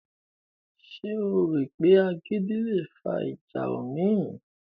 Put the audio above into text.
Ṣé o rò pé agídí le fa ìjà omi?